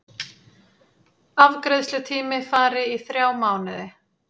Afgreiðslutími fari í þrjá mánuði